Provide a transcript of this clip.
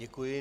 Děkuji.